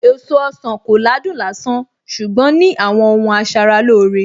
Èso ọsàn kò ládùn lásán ṣùgbọ́n ní àwọn ohun asaralóore